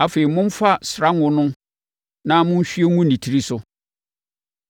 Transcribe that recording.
Afei, momfa srango no na monhwie ngu ne tiri so.